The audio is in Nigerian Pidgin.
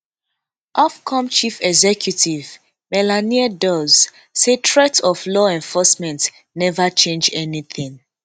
ofcome chief executive melanie dawes say threats of law enforcement neva change anytin